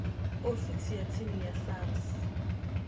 ofisini ya tsini ya sars